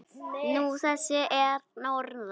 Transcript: Nú, þessir að norðan.